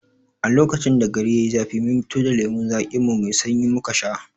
A lokacin da gari yai zafi mun fito da lemon zaƙin mu mai sanyi muka shanye